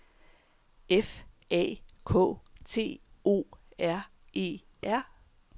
F A K T O R E R